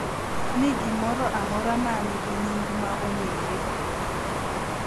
Ni gimoro amora ma nigi nying ma ong’ere